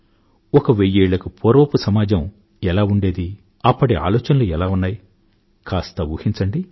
ఒక వెయ్యేళ్లకు పూర్వపు సమాజం ఎలా ఉండేది అప్పటి ఆలోచనలు ఎలా ఉన్నాయి కాస్త ఊహించండి